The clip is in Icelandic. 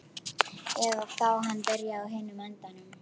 Eða þá hann byrjaði á hinum endanum.